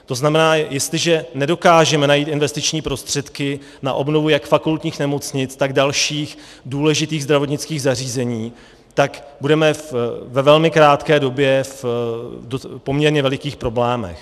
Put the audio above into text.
To znamená, jestliže nedokážeme najít investiční prostředky na obnovu jak fakultních nemocnic, tak dalších důležitých zdravotnických zařízení, tak budeme ve velmi krátké době v poměrně velikých problémech.